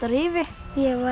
Rifi ég var